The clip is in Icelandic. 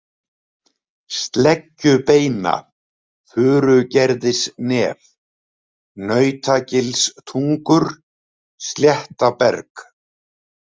Sleggjubeina, Furugerðisnef, Nautagilstungur, Sléttaberg